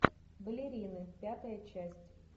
балерины пятая часть